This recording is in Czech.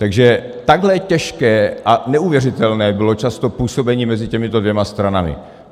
Takže takhle těžké a neuvěřitelné bylo často působení mezi těmito dvěma stranami.